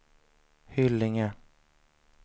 Hyllinge